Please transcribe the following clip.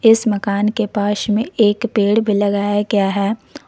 इस मकान के पास में एक पेड़ भी लगाया गया है।